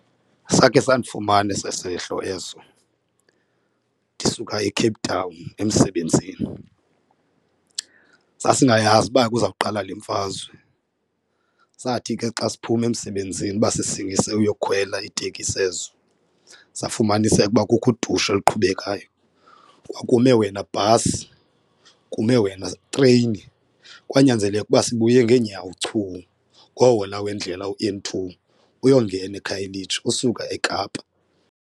Sakhe sandifumana eso sehlo eso ndisuka eCape Town emsebenzini. Sasingayazi uba kuza kuqala le mfazwe, sathi ke xa siphuma emsebenzini uba sisingese uyowukhwela iitekisi ezo safumaniseka ukuba kukho udushe oluqhubekayo. Kwakume wena bhasi kume wena treyini kwanyanzeleka ukuba sibuye ngeenyawo chuu ngowhola wendlela u-N two uyongena eKhayelitsha usuka eKapa.